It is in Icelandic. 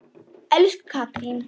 Elsku Katrín.